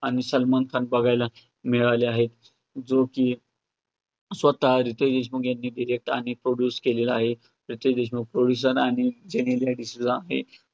आणि सलमान खान बघायला मिळाले आहेत, जो की स्वतः रितेश देशमुख यांनी direct आणि produce केलेला आहे. रितेश देशमुख producer आणि जेनेलिया डिसूजा